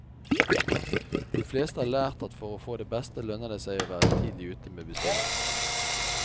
De fleste har lært at for å få det beste, lønner det seg å være tidlig ute med bestilling.